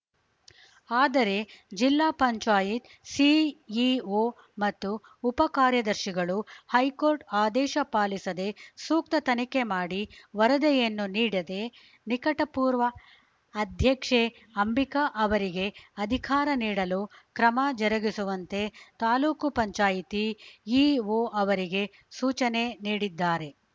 ಆದರೆ ಜಿಲ್ಲಾ ಪಂಚಾಯತ್ ಸಿಇಒ ಮತ್ತು ಉಪ ಕಾರ್ಯದರ್ಶಿಗಳು ಹೈಕೋರ್ಟ್‌ ಆದೇಶ ಪಾಲಿಸದೆ ಸೂಕ್ತ ತನಿಖೆ ಮಾಡಿ ವರದ ಯನ್ನು ನೀಡಿದೆ ನಿಕಟಪೂರ್ವ ಅಧ್ಯಕ್ಷೆ ಅಂಬಿಕಾ ಅವರಿಗೆ ಅಧಿಕಾರ ನೀಡಲು ಕ್ರಮ ಜರುಗಿಸುವಂತೆ ತಾಲೂಕ್ ಪಂಚಾಯತ್ ಇಒ ಅವರಿಗೆ ಸೂಚನೆ ನೀಡಿದ್ದಾರೆ